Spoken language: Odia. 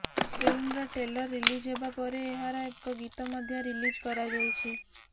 ଫିଲ୍ମର ଟ୍ରେଲର ରିଲିଜ୍ ପରେ ଏହାର ଏକ ଗୀତ ମଧ୍ୟ ରିଲିଜ କରାଯାଇଛି